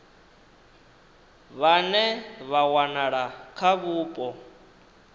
vhane vha wanala kha vhupo